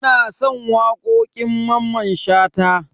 Ina son wakokin Mamman Shata.